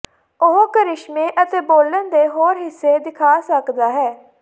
ਉਹ ਕਰਿਸ਼ਮੇ ਅਤੇ ਬੋਲਣ ਦੇ ਹੋਰ ਹਿੱਸੇ ਦਿਖਾ ਸਕਦਾ ਹੈ